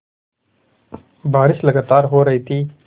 बारिश लगातार हो रही थी